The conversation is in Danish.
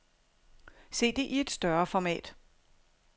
Se det i et større format.